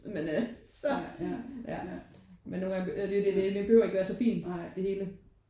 Men øh så ja men nogen gange det det det behøver ikke være så fint det hele